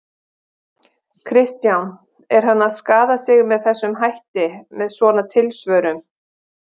Kristján: Er hann að skaða sig með þessum hætti, með svona tilsvörum?